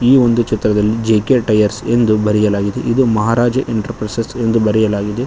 ಈ ಒಂದು ಚಿತ್ರದಲ್ಲಿ ಜೆ_ಕೆ ಟೈಯರ್ಸ್ ಎಂದು ಬರೆಯಲಾಗಿದೆ ಇದು ಮಹಾರಾಜ ಎಂಟರ್ಪ್ರೈಸಸ್ ಎಂದು ಬರೆಯಲಾಗಿದೆ.